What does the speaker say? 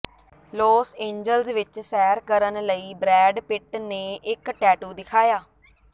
Los Angeles ਵਿਚ ਸੈਰ ਕਰਨ ਲਈ ਬਰੈਡ ਪਿਟ ਨੇ ਇਕ ਟੈਟੂ ਦਿਖਾਇਆ